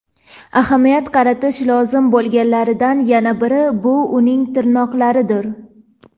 Ahamiyat qaratish lozim bo‘lganlaridan yana biri – bu uning tirnoqlaridir.